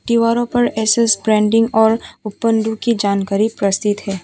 दीवारों पर एस_एस पेंटिंग और कुछ जानकारी प्रस्तुत है।